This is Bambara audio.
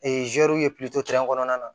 ye kɔnɔna na